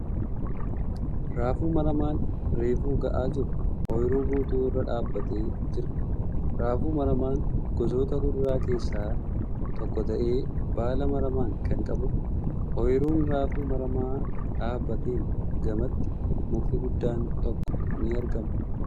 Raafuu maramaan reefu ga'aa jiru ooyiruu guutuu irra dhaabbateee jira. Raafuu maramaan gosoota kuduraa keessa tokko ta'ee baala maramaa kan qabuudha. Ooyiruu raafuu maramaa dhaabbateen gamatti mukti guddaan tokko ni argama.